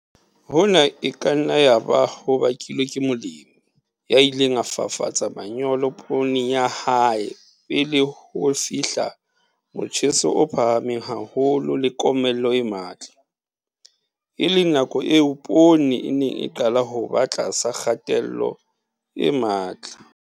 Hona e ka nna yaba ho bakilwe ke molemi ya ileng a fafatsa manyolo pooneng ya hae pele ho fihla motjheso o phahameng haholo le komello e matla, e leng nakong eo poone e neng e qala ho ba tlasa kgatello e matla.